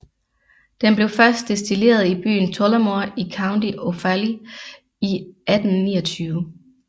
Den blev først destilleret i byen Tullamore i County Offaly i 1829